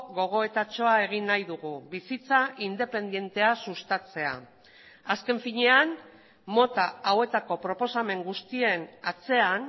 gogoetatxoa egin nahi dugu bizitza independentea sustatzea azken finean mota hauetako proposamen guztien atzean